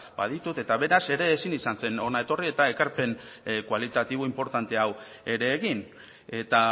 baditut eta beraz ere ezin izan zen hona etorri eta ekarpen kualitatibo inportante hau ere egin eta